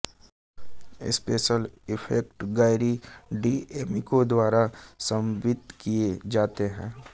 special effect Gary D'Amico द्वारा समन्वित किये जाते हैं